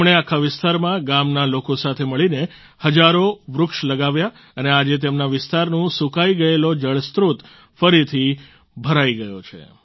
તેમણે આખા વિસ્તારમાં ગામના લોકો સાથે મળીને હજારો વૃક્ષ લગાવ્યાં અને આજે તેમના વિસ્તારનું સૂકાઈ ગયેલો જળસ્ત્રોત ફરથી ભરાઈ ગયો છે